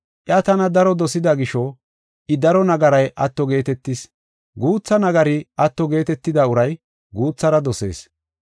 Iya tana daro dosida gisho, I daro nagaray atto geetetis. Guutha nagari atto geetetida uray guuthara dosees.”